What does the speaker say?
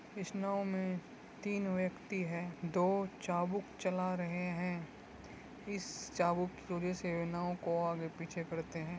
इस नाव में तीन व्यक्ति हैं। दो चाबुक चला रहे हैं। इस चाबुक से नाव को आगे पीछे करते है।